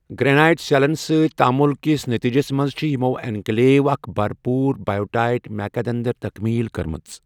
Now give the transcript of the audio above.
Granite سیلن سۭتۍ تعامل کِس نتیجَس منٛز چھِ یِمو انکلیوو اکھ بھرپوٗر بائیوٹائٹ میکا دٔنٛدٕر تَکمیٖل کٔرمٕژ۔